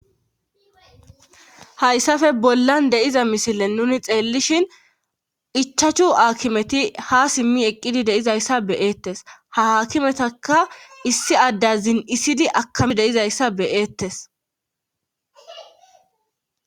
Hayssafe bollan deiza misilen nuni xeellishin ichachu aakimeti hasimmi eqqidi deizayssa beyeettes haakimetaka issi adda zin'isidi akami deizayssa beyeettes.